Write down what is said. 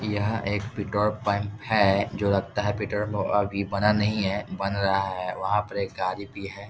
यह एक petrol pump है जो लगता है पेट्रोल पंप अभी बना नहीं है बन रहा है वहां पर एक गाड़ी भी है।